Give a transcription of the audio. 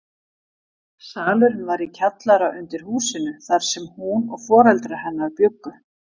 Salurinn var í kjallara undir húsinu þar sem hún og foreldrar hennar bjuggu.